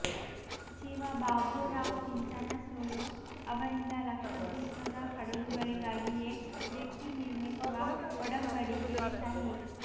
ಸಚಿವ ಬಾಬುರಾವ್ ಚಿಂಚನಸೂರು ಅವರಿಂದ ಲಕ್ಷದ್ವೀಪದ ಹಡಗುಗಳಿಗಾಗಿಯೇ ಜೆಟ್ಟಿ ನಿರ್ಮಿಸುವ ಒಡಂಬಡಿಕೆಗೆ ಸಹಿ